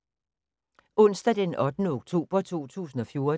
Onsdag d. 8. oktober 2014